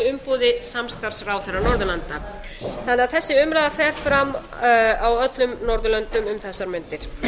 í umboði samstarfsráðherra norðurlanda þannig að þessi umræða fer fram á öllum norðurlöndum um þessar mundir